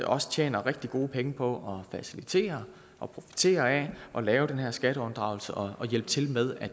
også tjener rigtig gode penge på at facilitere og profitere af at lave den her skatteunddragelse og hjælpe til med